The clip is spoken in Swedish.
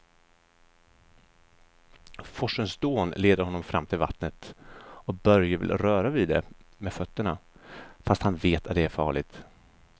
Forsens dån leder honom fram till vattnet och Börje vill röra vid det med fötterna, fast han vet att det är farligt.